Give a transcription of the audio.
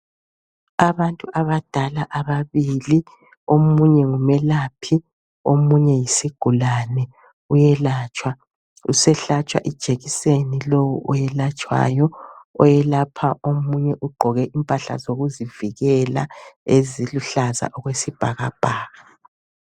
Abantu abadala ababili omunye ngumelaphi omunye yisigulane uyelatshwa usehlatshwa ijekiseni lowo oyelatshwayo oyelapha omunye ugqoke impahla zokuzivikela eziluhlaza okwesibhakabhaka.